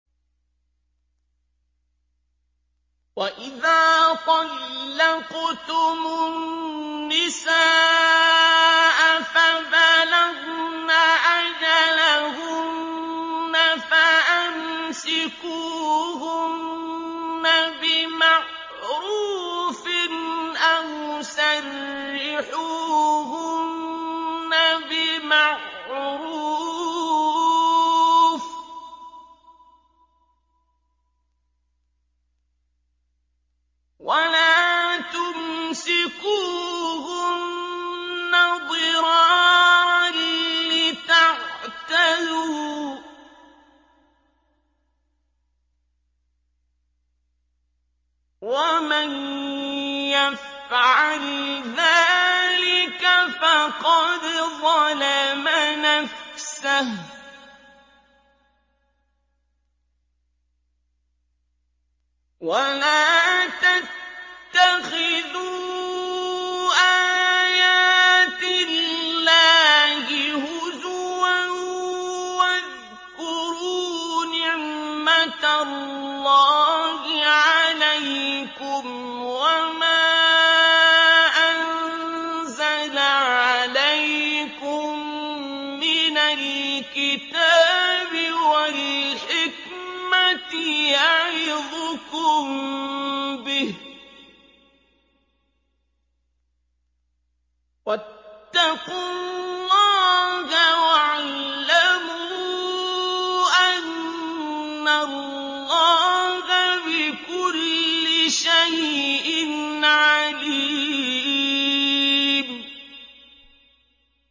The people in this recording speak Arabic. وَإِذَا طَلَّقْتُمُ النِّسَاءَ فَبَلَغْنَ أَجَلَهُنَّ فَأَمْسِكُوهُنَّ بِمَعْرُوفٍ أَوْ سَرِّحُوهُنَّ بِمَعْرُوفٍ ۚ وَلَا تُمْسِكُوهُنَّ ضِرَارًا لِّتَعْتَدُوا ۚ وَمَن يَفْعَلْ ذَٰلِكَ فَقَدْ ظَلَمَ نَفْسَهُ ۚ وَلَا تَتَّخِذُوا آيَاتِ اللَّهِ هُزُوًا ۚ وَاذْكُرُوا نِعْمَتَ اللَّهِ عَلَيْكُمْ وَمَا أَنزَلَ عَلَيْكُم مِّنَ الْكِتَابِ وَالْحِكْمَةِ يَعِظُكُم بِهِ ۚ وَاتَّقُوا اللَّهَ وَاعْلَمُوا أَنَّ اللَّهَ بِكُلِّ شَيْءٍ عَلِيمٌ